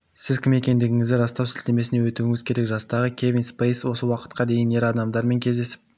сіз кім екендігіңізді растау сілтемесіне өтуіңіз керек жастағы кевин спейси осы уақытқа дейін ер адамдармен кездесіп